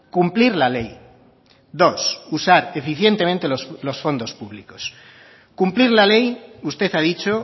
cumplir la ley dos usar eficientemente los fondos públicos cumplir la ley usted ha dicho